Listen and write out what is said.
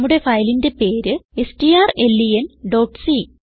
നമ്മുടെ ഫയലിന്റെ പേര് strlenസി